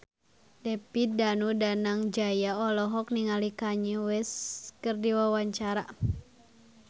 David Danu Danangjaya olohok ningali Kanye West keur diwawancara